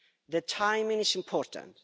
The timing is important.